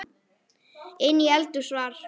Inni í eldhúsi var